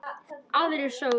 Aðrir sögðu: